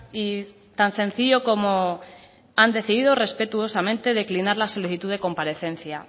y tan sencillo como han decidido respetuosamente declinar la solicitud de comparecencia